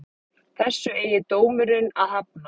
Þessu eigi dómurinn að hafna